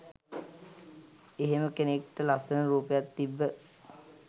එහෙම කෙනෙක්ට ලස්සන රූපයක් තිබ්බ